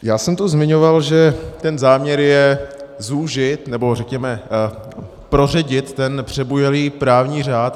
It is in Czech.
Já jsem tu zmiňoval, že ten záměr je zúžit, nebo řekněme, proředit, ten přebujelý právní řád.